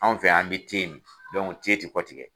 Anw fɛ yan, an bi mi ti kɔtigɛ.